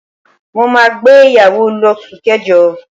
Mo máa gbé ìyàwó l'osu kẹjọ.